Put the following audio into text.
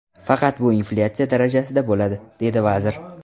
Faqat bu inflyatsiya darajasida bo‘ladi”, dedi vazir.